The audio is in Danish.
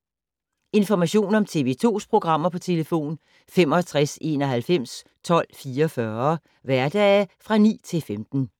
Information om TV 2's programmer: 65 91 12 44, hverdage 9-15.